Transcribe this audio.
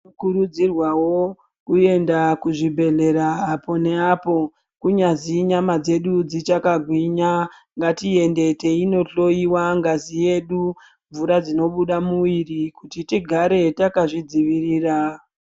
Tinokurudzirwawo kuenda kuzvibhedhlera apo neapo kunyazi nyama dzedu dzichakagwinya. Ngatiende teinohloiwa ngazi yedu, mvura dzinobuda mumuviri kuti tigare takazvidzivirira.